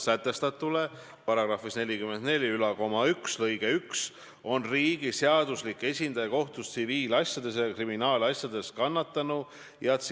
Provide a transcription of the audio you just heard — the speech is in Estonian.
Ma vastasin ka Taavi Rõivase vähemalt teisele küsimusele ja ütlesin, et ütlen seda siin Riigikogu saalis, aga olen öelnud ka teistel kohtumistel, kui see küsimus on tulnud arutelu alla.